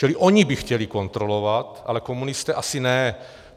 Čili oni by chtěli kontrolovat, ale komunisté asi ne.